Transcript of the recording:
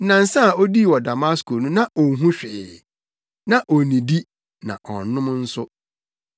Nnansa a odii wɔ Damasko no na onhu hwee. Na onnidi na ɔnnom nso.